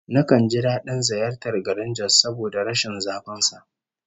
Nakan ji dadin ziyartar garin Jos saboda rashin zafin sa